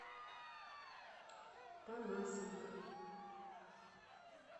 панасенко